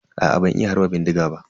Aa ban iya harba bindiga ba.